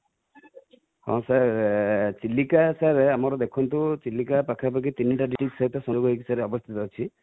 ହଁ sir Chilika sir ଆମର ଦେଖନ୍ତୁ ଚିଲିକା ପାଖ ପାଖି ତିନିଟା ସହିତ ଅବସ୍ଥିତି ଅଛି